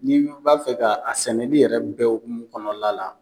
Ni n go n b'a fɛ ka, a sɛnɛli yɛrɛ bɛ hokumu kɔnɔna la